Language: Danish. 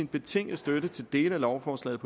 betingede støtte til dele af lovforslaget